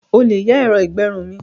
O lè yá ẹ̀rọ ìgbẹrun mi.